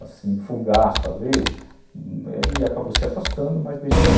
Assim, fugaz, talvez, ele acabou se afastando, mas deixando...